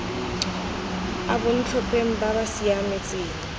a bontlhopheng ba ba siametseng